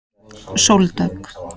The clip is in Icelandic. Sóldögg